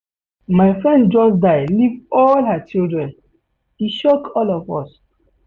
My friend just die leave all her children, e shock all of us.